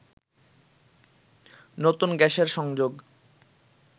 নতুন গ্যাসের সংযোগ